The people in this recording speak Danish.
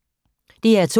DR2